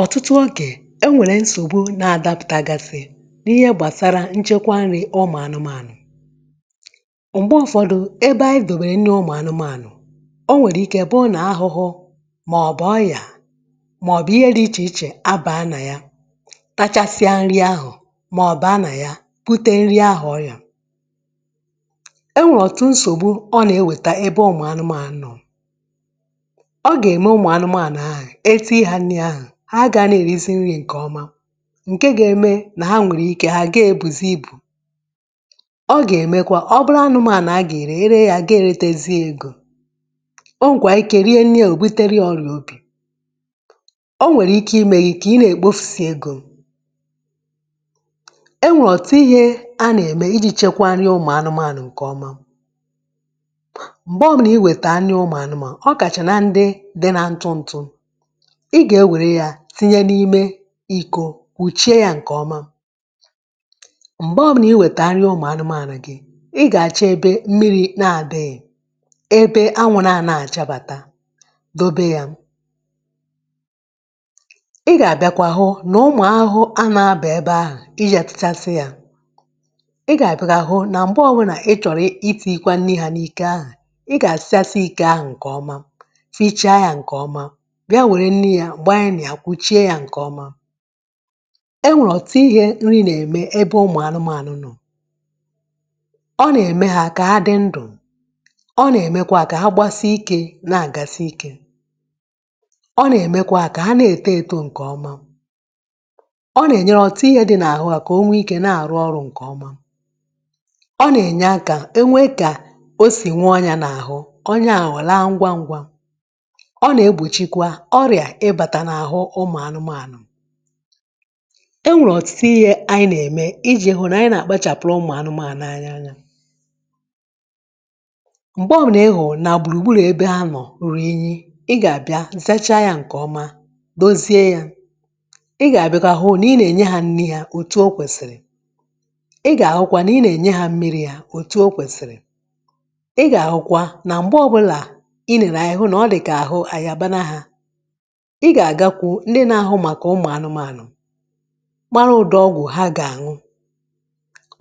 Ọ́tụtụ ogè, e nwèrè nsògbu nà-adàpụ̀tàgafe, n’ihe gbàsara ǹchekwa nri̇ ụmụ̀ anụmanụ̀. Mgbe ụfọdụ̀, ebe anyị dobèrè nri ụmụ̀ anụmanụ̀, o nwèrè ikė bụụ n’ahụhụ màọ̀bụ̀ ọyà màọ̀bụ̀ ihe dị ichè ichè abàa nà ya, tachasịa nri ahụ̀ mọọ baa nà ya, bute nri ahụ̀ ọyà. E nwèè ọ́tụ nsògbu ọ nà-eweta ebe ụmụ̀ anụman nọ. Ọ gà-eme ụmụanụmaànụ̀ àhụ, etiiri hȧ nri̇ ahụ̀, ha a gàá na-èrizi nri̇ ǹkè ọma, ǹke gȧ-eme nà ha nwèrè ike ha ga-èbùzi ibù. Ọ gà-èmekwa ọ̀ bụrụ anụmaànụ̀ a gà-ère, e ree ya, a gà-èretèzi egȯ. O nwèkwaa ike rie nri a o buteria ọrịà obì. O nwèrè ike imė gị kà ị nà-èkpofusi egȯ. E nwèrè ọ̀tụtụ ihė a nà-ème iji̇ chekwaa nri ụmụ́anụmaànụ̀ ǹkè ọma. Mgbè ọbụlà iwèta nri ụmụanụmaànụ-ọ kàchàna ndị dị na ntụntụ, ị gà-ewère ya tinye n’ime iko, kwùchie ya ǹkè ọma. Mgbè ọbụnà iwèta nri ụmụ̀anụmȧnụ̀ gị, ị gà-àchọ ebe mmiri̇ na-àdịghì, ebe anwụ̇ nà àna-àchabàta dobe ya. Ị gà-àbịakwa hụ nà ụmụ̀ ahụhụ a na-abà ebe ahụ̀ ị ga-etịchasị ya. Ị gà-àbịa kwà hụ nà m̀gbe ọwụnà ị chọ̀rọ̀ iti̇ikwa nri ha n’iko ahụ̀, ị gà-àsachasị iko ahụ̀ ǹkè ọma, fichaa ya nke ọma bịa were nri ya gbaị nịa kwuchie ya nke ọma. E nwere ọtụtụ ihe nri na-eme n'ebe ụmụanụmanụ nọ: ọ nà-ème hȧ kà ha dị ndụ̀, ọ nà-èmekwa ha kà ha gbasị ikė na-àgasị ikė, ọ nà-èmekwa ha kà ha na-ète etȯ ǹkè ọma, ọ nà-ènyere ọ̀tụtụ ihė dị n’àhụ hà kà o nwee ikė na-àrụ ọrụ̇ ǹkè ọma, ọ nà-ènye akȧ e nwee kà o sì nwee onya n’àhụ onya àhụ̀ a laa ngwa ngwa, ọ na-egbichikwa ọrịa ịbàtà n’àhụ ụmụ̀anụmȧnụ̀. E nwèrè ọ̀tụtụ ihė ànyị nà-ème iji̇ hụ̀ nà anyị nà-àkpachàpụ̀rụ̀ ụmụ̀ anụmȧnụ̀ anyị anyȧ. Mgbe ọ̀bụnà ị hụ̀ụ nà gbùrùgburù ebe ha nọ̀ ruru unyi̇, ị gà-àbịa zacha yȧ ǹkè ọma, dozie yȧ, ị gà-àbịa kwa hụ n'inenye hȧ nri haȧ òtù o kwèsìrì, ị gà-àhụkwa nà ị nà-enye hȧ mmiri̇ hȧ òtù o kwèsìrì, ị gà-àhụkwa nà m̀gbe ọbụ̇là ị nèrè anyị hụ nà ọ dị̀kà àhụ àyàbana ha; ị gà-àgakwu ndị nȧ-ȧhụ̇ màkà ụmụ̀ anụmanụ̀, mara ụ̀dị ọgwụ̀ ha gà-àñụ.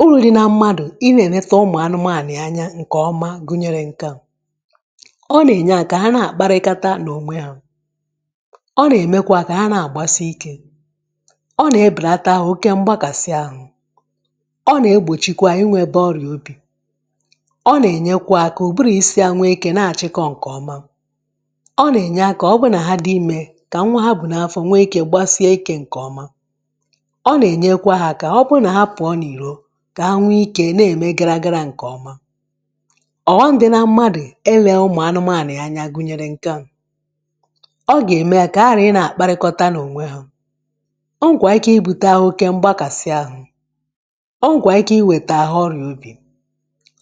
Uru̇ dị na mmadụ̀ ị nȧ-èneta ụmụ̀ anụmanụ̀ anya ǹkèọma gụnyere ǹke a: ọ nà-ènye à kà ha na-àkparịkata n’ònwe ha, ọ nà-èmekwa kà ha na-àgbasị ikė, ọ nà-ebèlata ahụ̀ oke mgbakàsị ahụ̇, ọ nà-egbòchikwa inwėba ọrìà obì, ọ nà-ènyekwa akà ka ụbụrụ isi ha nwee ikė nà-àchịkọ ǹkè ọma, ọ na-enye aka ọ bụ na ha dị ime ka nwa ha bu n'afọ nwee ikė gbasie ikė ǹkè ọma, ọ nà-ènyekwa ha aká ọbụrụ nà ha pụ̀ọ n’ìro kà ha nwee ikė na-ème gara gara ǹkè ọma. Ọ́họ́m dị na mmadụ̀ e lė ụmụ̀anụmȧnụ̀ ya anya gụnyere ǹke a: ọ gà-ème kà ha ghàra ị nȧ-àkparịkọta n’ònwe ha, o nwekwaa ike ibu̇te oke mgbakàsị ahụ, o nwekwaa ike iwètè ahụ ọrịà obì,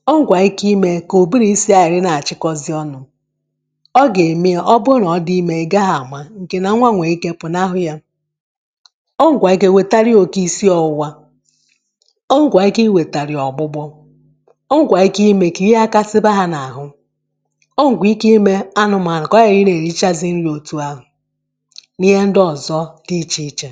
o nwekwaa ike imė k'ụbụrụ isi ha ghara ị nà-àchịkọzị ọnụ̇, ọ ga-eme ọ bụrụ n'ọ dị ime, ị gaghị a ma nke na nwa nwee ike pụnahụ ya, o nwekwaa ike wẹ̀tari ya oke ìsi ọ̇wụ̇wȧ, o nwẹ̀kwaa ike iwètàrị̀ ya ọ̀gbụgbọ, o nwẹ̀kwaa ike i mė kà ihe aghakȧsiba ha n’àhụ, ọ nwẹ̀kwaa ike imė anụ̇mȧ, kọo ghara ị na-eri chȧzị̇ nri òtù ahụ̇ n’ihe ndị ọ̀zọ dị ichè ichè.